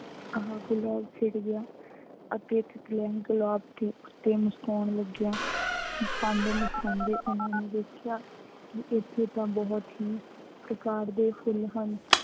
ਆਹ ਗੁਲਾਬ ਖਿੜ੍ਹ ਗਿਆ ਅਤੇ ਤਿੱਤਲੀਆਂ ਵੀ ਗੁਲਾਬ ਤੇ ਮੁਸਕਰਾਉਣ ਲੱਗੀਆਂ। ਮੁਸਕਰਾਉਂਦੇ, ਮੁਸਕਰਾਉਂਦੇ ਉਹਨਾ ਨੇ ਦੇਖਿਆ ਕਿ ਇਥੇ ਤਾਂ ਬਹੁਤ ਹੀ ਪ੍ਰਕਾਰ ਦੇ ਫੁੱਲ ਹਨ।